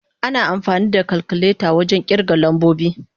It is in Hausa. Ana amfani da kalkuleta wajen kirga lambobi.